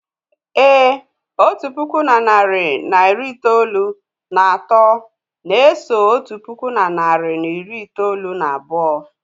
Èé, otu puku na narị na iri itoolu na atọ na-eso otu puku na narị na iri itoolu na abụọ.